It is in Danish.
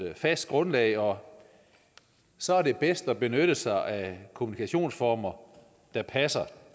fast grundlag og så er det bedst at benytte sig af kommunikationsformer der passer